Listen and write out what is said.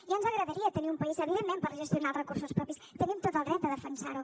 ja ens agradaria tenir un país evidentment per gestionar els recursos propis tenim tot el dret a defensar ho